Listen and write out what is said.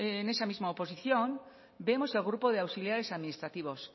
en esa misma oposición vemos el grupo de auxiliares administrativos